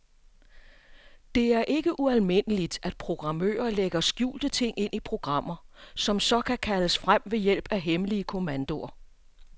Det er ikke ualmindeligt, at programmører lægger skjulte ting ind i programmer, som så kan kaldes frem ved hjælp af hemmelige kommandoer.